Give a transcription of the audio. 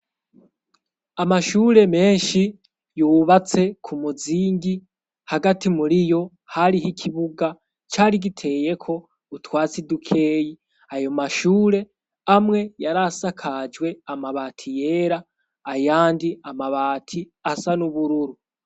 Amashure menshi yubatse ku muzingi hagati muri yo hariho ikibuga cari giteye ko utwatsi dukeyi. Ayo mashure amwe yari asakajwe amabati yera ayandi amabati asa n'ubururu.